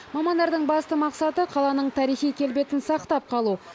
мамандардың басты мақсаты қаланың тарихи келбетін сақтап қалу